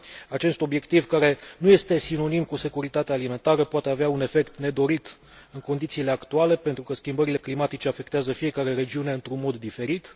Acest obiectiv, care nu este sinonim cu securitatea alimentară, poate avea un efect nedorit în condițiile actuale, pentru că schimbările climatice afectează fiecare regiune într un mod diferit.